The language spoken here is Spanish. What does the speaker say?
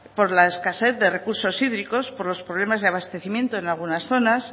por la escasez de recursos hídricos por los problemas de abastecimiento en algunas zonas